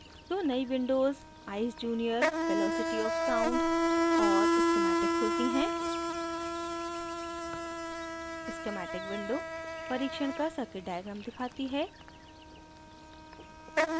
दो नयी windows eyes junior: velocity of sound और schematic खुलती हैं schematic windows परिक्षण का circuit diagram दिखाती है